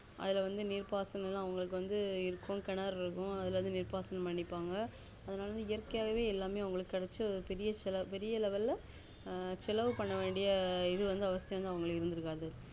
அதுல வந்து நீர் பாசனம் வந்து இருக்கும் கிணறு இருக்கும் அதுல வந்து நீர் பாசனம் பன்னிபாங்க அதனால இயற்கையாவே எல்லாமே கெடைச்சு பெரிய செலவு பெரிய level ல செலவு பண்ணவேண்டிய இது வந்து அவசியம் அவங்களுக்கு இருக்காது